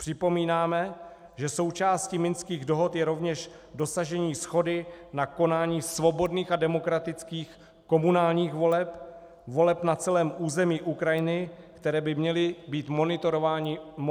Připomínáme, že součástí Minských dohod je rovněž dosažení shody na konání svobodných a demokratických komunálních voleb, voleb na celém území Ukrajiny, které by měly být monitorovány OBSE.